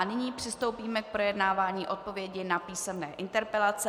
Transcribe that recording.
A nyní přistoupíme k projednávání odpovědi na písemné interpelace.